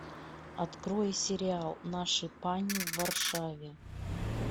открой сериал наши пани в варшаве